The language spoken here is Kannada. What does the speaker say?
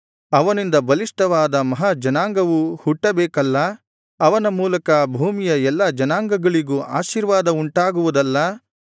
ಅವನಿಂದ ಬಲಿಷ್ಠವಾದ ಮಹಾ ಜನಾಂಗವು ಹುಟ್ಟಬೇಕಲ್ಲಾ ಅವನ ಮೂಲಕ ಭೂಮಿಯ ಎಲ್ಲಾ ಜನಾಂಗಗಳಿಗೂ ಆಶೀರ್ವಾದ ಉಂಟಾಗುವುದಲ್ಲಾ